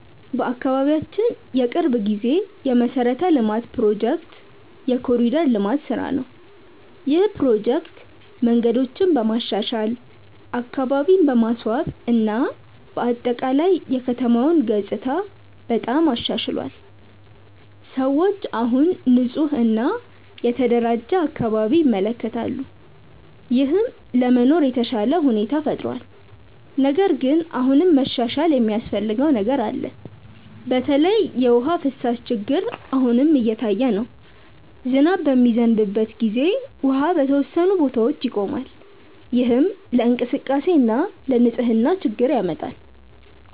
በአካባቢያችን የቅርብ ጊዜ የመሠረተ ልማት ፕሮጀክት የ“ኮሪደር ልማት” ስራ ነው። ይህ ፕሮጀክት መንገዶችን በማሻሻል፣ አካባቢን በማስዋብ እና በአጠቃላይ የከተማውን ገጽታ በጣም አሻሽሏል። ሰዎች አሁን ንፁህ እና የተደራጀ አካባቢ ይመለከታሉ፣ ይህም ለመኖር የተሻለ ሁኔታ ፈጥሯል። ነገር ግን አሁንም መሻሻል የሚያስፈልገው ነገር አለ። በተለይ የውሃ ፍሳሽ ችግር አሁንም እየታየ ነው። ዝናብ በሚዘንብበት ጊዜ ውሃ በተወሰኑ ቦታዎች ይቆማል፣ ይህም ለእንቅስቃሴ እና ለንፅህና ችግር ያመጣል።